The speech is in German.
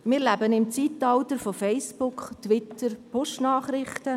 Wir leben im Zeitalter von Facebook, Twitter und Push-Nachrichten.